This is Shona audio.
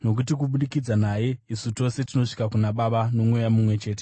Nokuti kubudikidza naye isu tose tinosvika kuna Baba noMweya mumwe chete.